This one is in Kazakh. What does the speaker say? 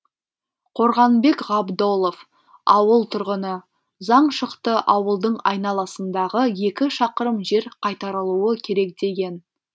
қорғанбек ғабдолов ауыл тұрғыны заң шықты ауылдың айналасындағы екі шақырым жер қайтарылуы керек деген